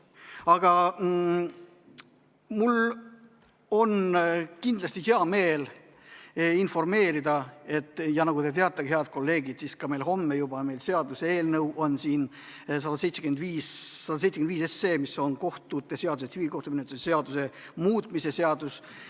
Aga mul on hea meel teid informeerida, head kolleegid, tuletades meelde, et homme on meil arutusel seaduseelnõu 175, mis on kohtute seaduse ja tsiviilkohtumenetluse seadustiku muutmise seaduse eelnõu.